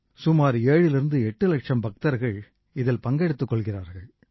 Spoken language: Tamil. சுமார் 78 லட்சம் பக்தர்கள் இதில் பங்கெடுத்துக் கொள்கிறார்கள்